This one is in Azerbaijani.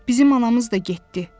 Bizim anamız da getdi.